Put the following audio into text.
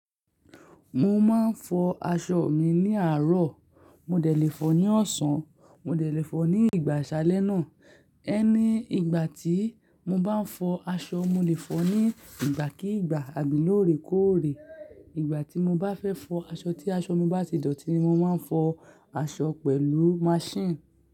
Mo máa ń fọ aṣọ mi ní àárọ̀, mo dẹ̀ le fọ ní ọ̀sán, mo dẹ̀ le fọ ní ìgbà àsálẹ́ náà. Ẹni ìgbà tí mo bá ń fọ aṣọ, mo lè fọ ní ìgbà kí ìgbà àbí lóore kóòrè. Ìgbà tí mo bá fẹ́ fọ aṣọ tí aṣọ mi bá ti dọ̀tí, ni mo máa ń fọ aṣọ pẹ̀lú machine.